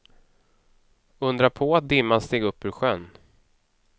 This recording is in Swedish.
Undra på att dimman steg upp ur sjön.